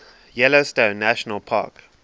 yellowstone national park